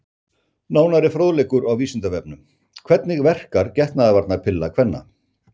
Frekari fróðleikur á Vísindavefnum: Hvernig verkar getnaðarvarnarpilla kvenna?